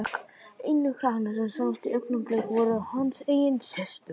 Einu krakkarnir sem sáust í augnablikinu voru hans eigin systur.